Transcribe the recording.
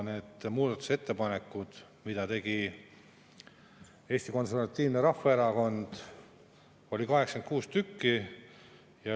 Neid muudatusettepanekuid, mida tegi Eesti Konservatiivne Rahvaerakond, oli 86.